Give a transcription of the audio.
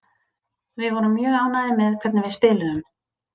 Við vorum mjög ánægðir með hvernig við spiluðum.